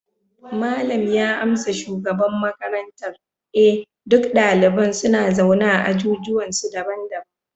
malam ya amsa shugaban makarantar, eh duk daliban suna zaune a ajujuwansu daban-daban